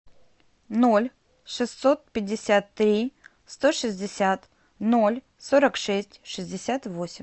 ноль шестьсот пятьдесят три сто шестьдесят ноль сорок шесть шестьдесят восемь